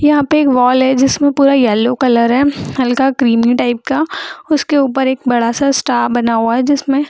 यहां पे एक वॉल है जिसमें पूरा येलो कलर है हल्का क्रीमी टाइप का उसके ऊपर एक बड़ा सा स्टार बना हुआ है जिसमे --